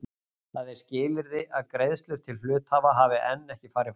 Það er skilyrði að greiðslur til hluthafa hafi enn ekki farið fram.